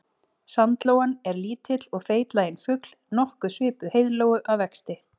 Sandlóan er lítill og feitlaginn fugl nokkuð svipuð heiðlóu að vexti.